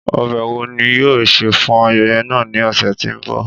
Ọbẹ wo ni yoo se fun ayẹyẹ naa ni ọsẹ ti n bọ?